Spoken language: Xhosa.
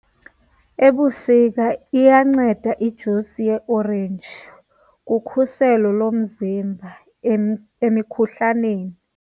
Ebusika iyanceda ijusi yeeorenji kukhuselo lomzimba emikhuhlaneni.